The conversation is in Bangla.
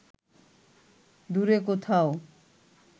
দূরে কোথাও